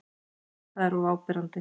Það er of áberandi.